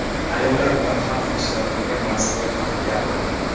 ayollar bilan "har xil ishlar" qilgan mas’ullar haqida gapirdi.